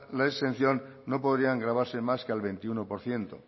la exención no podrían grabarse más que al veintiuno por ciento